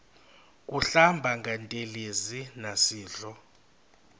kuhlamba ngantelezi nasidlo